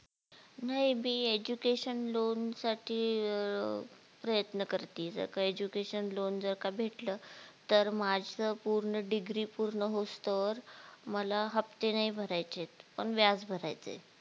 नाही मी education loan साठी अं प्रयत्न करतिये, जर Education loan जर का भेटलं तर माझी पूर्ण degree पूर्ण होवूस्तोवर मला हप्ते नाही भरायचेत पण व्याज भरायचे